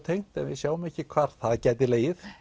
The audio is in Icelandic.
tengt en við sjáum ekki hvar það gæti legið